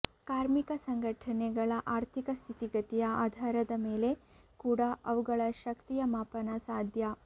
ಕಾರ್ಮಿಕ ಸಂಘಟನೆಗಳ ಆರ್ಥಿಕ ಸ್ಥಿತಿಗತಿಯ ಆಧಾರ ಮೇಲೆ ಕೂಡ ಅವುಗಳ ಶಕ್ತಿಯ ಮಾಪನ ಸಾಧ್ಯ